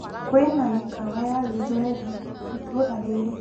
Kwĩna mĩkawa ya gĩthweri itũra rĩrĩ.